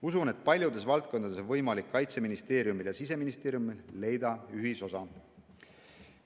Usun, et paljudes valdkondades on võimalik Kaitseministeeriumil ja Siseministeeriumil leida ühisosa.